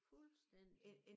Fuldstændigt